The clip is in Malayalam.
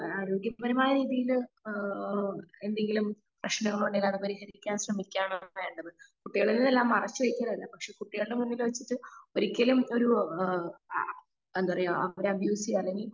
ആരോഗ്യ പരമായ രീതിയിൽ ആ എന്തെങ്കിലും പ്രേശ്നങ്ങൾ ഉണ്ടെങ്കിൽ അത് പരിഹരിക്കാൻ ശ്രെമിക്കാം എന്നാണ് വേണ്ടത് കുട്ടികളിൽ നിന്ന് എല്ലാം മറച്ചു വെച്ച് പക്ഷെ കുട്ടികളുടെ മുന്നിൽ വെച്ച് ഒരിക്കലും ഒരു ആ ആ എന്താ പറയാ അവരെ അല്ലെങ്കി